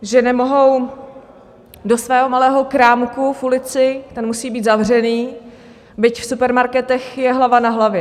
Že nemohou do svého malého krámku v ulici, ten musí být zavřený, byť v supermarketech je hlava na hlavě.